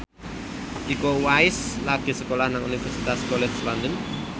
Iko Uwais lagi sekolah nang Universitas College London